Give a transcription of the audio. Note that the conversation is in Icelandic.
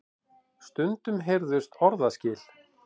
Stundum heyrðust orðaskil.